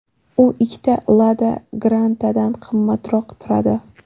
U ikkita Lada Granta’dan qimmatroq turadi.